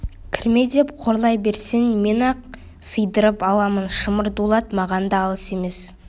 кірме деп қорлай берсең мен-ақ сыйдырып аламын шымыр дулат маған да алыс емес